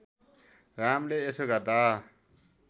रामले यसो गर्दा